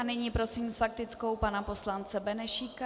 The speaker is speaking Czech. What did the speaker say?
A nyní prosím s faktickou pana poslance Benešíka.